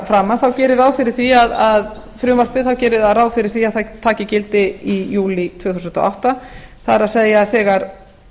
framan gerir frumvarpið ráð fyrir því að það taki gildi í júlí tvö þúsund og átta það er þegar